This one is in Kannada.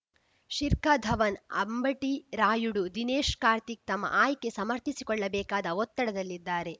ಶಿರ್ಖ್ ಧವನ್‌ ಅಂಬಟಿ ರಾಯುಡು ದಿನೇಶ್‌ ಕಾರ್ತಿಕ್‌ ತಮ್ಮ ಆಯ್ಕೆ ಸಮರ್ಥಿಸಿಕೊಳ್ಳಬೇಕಾದ ಒತ್ತಡದಲ್ಲಿದ್ದಾರೆ